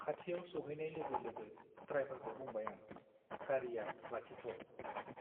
खाथियाव सौहैनाय लोगो - लोगो द्राइभारखौ बुंबाय आं- गारीया लाखिथ' ।